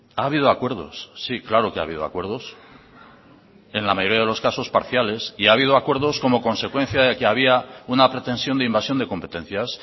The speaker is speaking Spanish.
ha habido acuerdos sí claro que ha habido acuerdos en la mayoría de los casos parciales y ha habido acuerdos como consecuencia de que había una pretensión de invasión de competencias